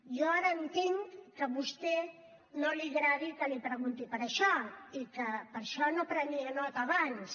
jo ara entenc que a vostè no li agradi que li pregunti per això i que per això no prenia nota abans